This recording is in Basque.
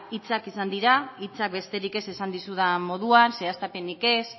hitzak izan dira hitzak besterik ez esan dizudan moduan zehaztapenik ez